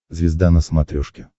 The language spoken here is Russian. звезда на смотрешке